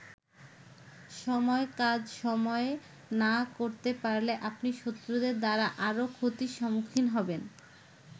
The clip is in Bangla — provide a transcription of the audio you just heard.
সময়ের কাজ সময়ে না করতে পারলে আপনি শত্রুদের দ্বারা আরো ক্ষতির সম্মুখীন হবেন।